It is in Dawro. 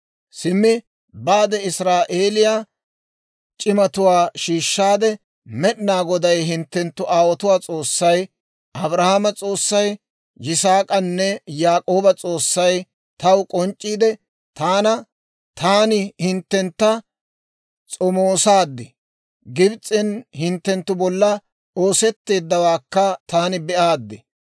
«Simmi; baade Israa'eeliyaa c'imatuwaa shiishshaade, ‹Med'inaa Goday hinttenttu aawotuwaa S'oossay, Abrahaama, Yisaak'anne Yaak'ooba S'oossay taw k'onc'c'iide; taana, Taani hinttentta s'omoosaad; Gibs'en hinttenttu bolla oosetteeddawaakka taani be'aaddi.